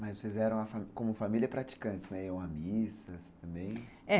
Mas vocês eram como família praticantes, né, iam à missa também? é.